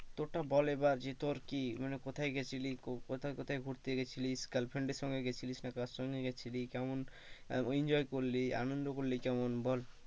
তোরটা বল এবার যে তোর কি মানে কোথায় গিয়েছিলি? কোথায় কোথায় ঘুরতে গেছিলি? গার্লফ্রেন্ডের সঙ্গে গিয়েছিলিস কেমন enjoy করলি আনন্দ করলি কেমন বল?